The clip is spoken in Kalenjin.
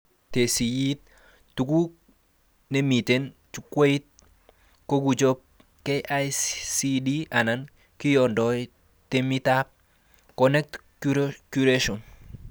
Tesisyit tugul nemiten jukwait kokichobe KICD anan kiyondoi temitab 'conent curation'